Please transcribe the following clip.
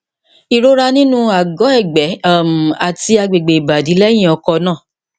ìrora nínú àgọ ẹgbẹ um àti agbègbè ìbàdí lẹyìn ọkọ náà